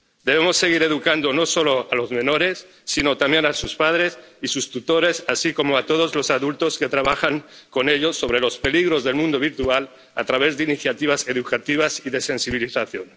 Debemos seguir educando, no solo a los menores, sino también a sus padres y sus tutores, así como a todos los adultos que trabajan con ellos, sobre los peligros del mundo virtual, a través de iniciativas educativas y de sensibilización.